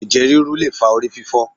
Ẹ̀jẹ̀ ríru le fa ori fífó̩